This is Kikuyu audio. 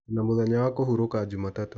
Ndĩna mũthenya wa kũhurũka Jumatatũ.